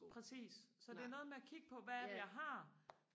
præcis så det er noget med og kigge på hvad er det jeg har